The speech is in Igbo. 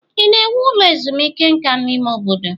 Ị na-ewu ụlọ ezumike nka n'ime obodo?